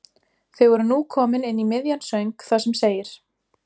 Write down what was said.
Þau voru nú komin inn í miðjan söng þar sem segir